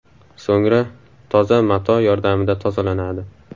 So‘ngra toza mato yordamida tozalanadi.